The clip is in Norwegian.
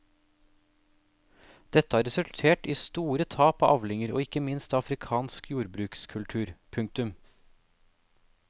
Dette har resultert i store tap av avlinger og ikke minst av afrikansk jordbrukskultur. punktum